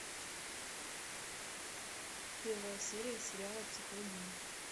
первая серия сериала психологини